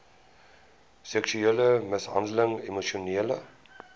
seksuele mishandeling emosionele